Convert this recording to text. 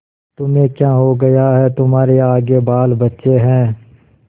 तुम्हें क्या हो गया है तुम्हारे आगे बालबच्चे हैं